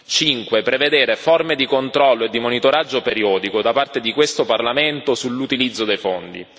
5 prevedere forme di controllo e di monitoraggio periodico da parte di questo Parlamento sull'utilizzo dei fondi